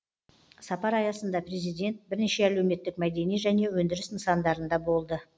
сапар аясында президент бірнеше әлеуметтік мәдени және өндіріс нысандарында болды